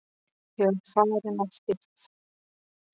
Ég var að fara að hitta